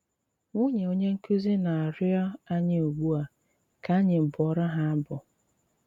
Nwunye onye nkúzí ná-àrịọ ányị́ ugbu a ká ányị́ bụọrọ ha abụ.